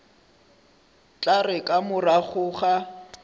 tla re ka morago ga